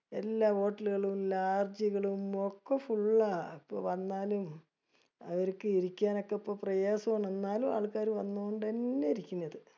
എല്ലാ hotel ലുകളും lodge ജുകളും ഒക്കെ full ആ. അപ്പൊ വന്നാലും അവിരിക്ക് ഇരിക്കാനൊക്കെപ്പോ പ്രയാസം ആണ്. ന്നാലും ആൾക്കാര് വന്നൊണ്ടെന്നേ ഇരിക്കണത്